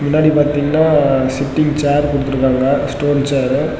முன்னாடி பாத்தீங்கன்னா sitting chair குடுத்திருக்காங்க ஸ்டோன் சேர் .